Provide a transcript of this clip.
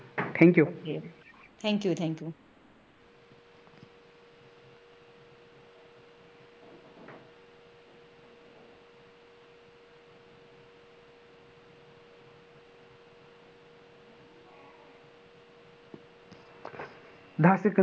Thank you